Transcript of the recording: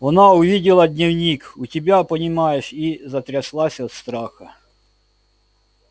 она увидела дневник у тебя понимаешь и затряслась от страха